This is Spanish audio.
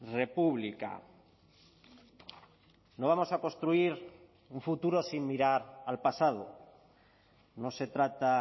república no vamos a construir un futuro sin mirar al pasado no se trata